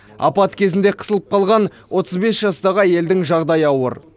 апат кезінде қысылып қалған отыз бес жастағы әйелдің жағдайы ауыр